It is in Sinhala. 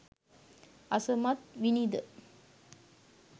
අසමත් විණිද?